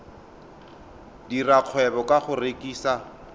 dira kgwebo ka go rekisa